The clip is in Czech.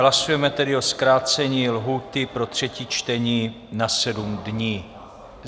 Hlasujeme tedy o zkrácení lhůty pro třetí čtení na 7 dní.